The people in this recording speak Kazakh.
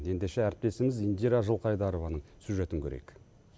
ендеше әріптесіміз индира жылқайдорованың сюжетін көрейік